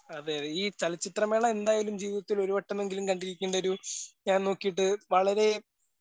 അതെ. ഈ ചലച്ചിത്ര മേള എന്തായാലും ജീവിതത്തിൽ ഒരുവട്ടമെങ്കിലും കണ്ടിരിക്കേണ്ട ഒരു ഞാൻ നോക്കീട്ട് വളരേ